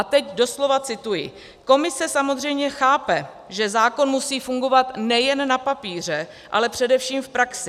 A teď doslova cituji: "Komise samozřejmě chápe, že zákon musí fungovat nejen na papíře, ale především v praxi.